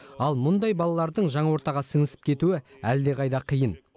ал мұндай балалардың жаңа ортаға сіңісіп кетуі әлдеқайда қиын